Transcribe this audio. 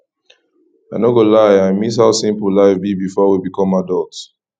i no go lie i miss how simple life be before we become adult